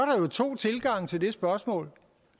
to tilgange til det spørgsmål